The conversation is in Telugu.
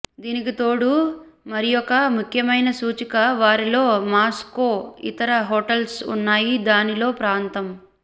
దీనికి తోడు మరియొక ముఖ్యమైన సూచిక వారిలో మాస్కో ఇతర హోటల్స్ ఉన్నాయి దీనిలో ప్రాంతం